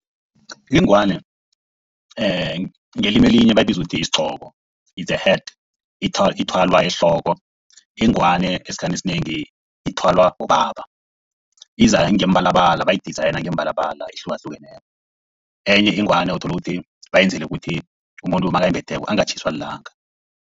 Ingwani ngelimi elinye bayibiza ukuthi yisigqoko, is the hat ethwalwa ehloko. Ingwani esikhathini esinengi ithwalwa bobaba. Iza ngemibalabala bayi-design ngemibalabala ehlukahlukeneko. Enye ingwani uthola ukuthi bayenzele ukuthi umuntu nakayimbetheko angatjhiswa lilanga.